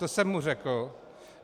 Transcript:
To jsem mu řekl.